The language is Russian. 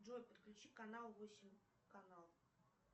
джой подключи канал восемь канал